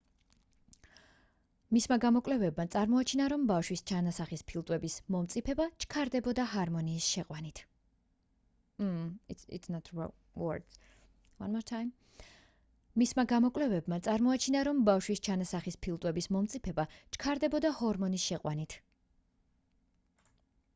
მისმა გამოკვლევებმა წარმოაჩინა რომ ბავშვის ჩანასახის ფილტვების მომწიფება ჩქარდებოდა ჰორმონის შეყვანით